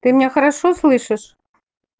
ты меня хорошо слышишь